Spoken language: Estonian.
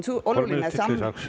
Kolm minutit lisaks.